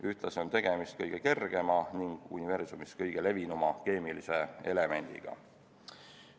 Ühtlasi on tegemist kõige kergema ning universumis kõige levinuma keemilise elemendiga.